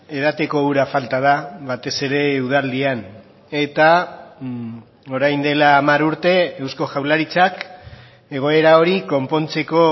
edateko ura falta da batez ere udaldian eta orain dela hamar urte eusko jaurlaritzak egoera hori konpontzeko